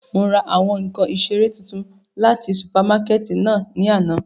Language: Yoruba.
Mo ra awọn nkan isere tuntun lati supamakẹti náa ni ana.